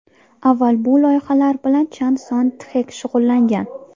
Avval bu loyihalar bilan Chan Son Txek shug‘ullangan.